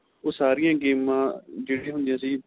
ਉਹ ਸਾਰੀਆਂ ਗੇਮਾ ਜਿਹੜੀਆਂ ਹੁੰਦੀਆ ਸੀ